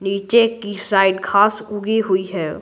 नीचे की साइड घास उगी हुई है।